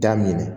Da minɛ